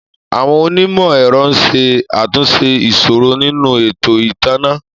Àwọn onímò ẹ̀rọ ń ṣe àtúnṣe ìṣòro nínú ètò ìtanná